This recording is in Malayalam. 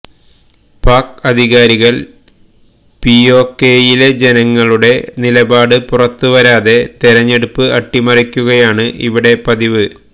പാക് അധികാരികള് പിഒകെയിലെ ജനങ്ങളുടെ നിലപാട് പുറത്തുവരാതെ തെരഞ്ഞെടുപ്പ് അട്ടിമറിക്കുകയാണ് ഇവിടെ പതിവ്